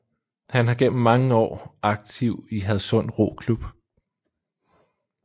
Han har gennem mange år aktiv i Hadsund Roklub